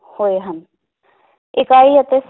ਹੋਏ ਹਨ ਇਕਾਈ ਅਤੇ